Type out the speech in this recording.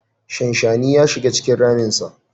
Shanshani ya shiga cikin raminsa.